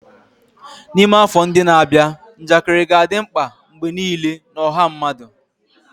N'ime afọ ndị na-abịa, njakịrị ga-adị mkpa mgbe niile na ọha mmadụ.